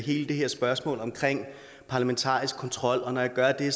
hele det her spørgsmål om parlamentarisk kontrol og når jeg gør det